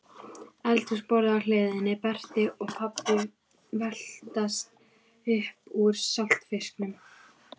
Eldhúsborðið á hliðinni, Berti og pabbi veltast upp úr saltfisknum